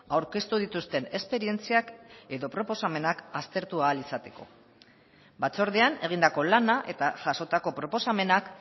aurkeztu dituzten esperientziak edo proposamenak aztertu ahal izateko batzordean egindako lana eta jasotako proposamenak